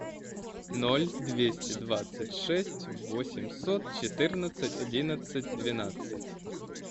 ноль двести двадцать шесть восемьсот четырнадцать одиннадцать двенадцать